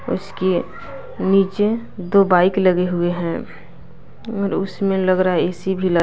उसके नीचे दो बाइक लगे हुए हैं और उसमें लग रहा है ए_सी भी लग --